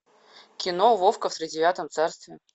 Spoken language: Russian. кино вовка в тридевятом царстве